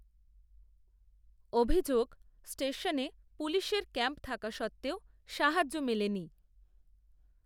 অভিযোগ, স্টেশনে পুলিশের ক্যাম্প থাকা সত্ত্বেও, সাহায্য মেলেনি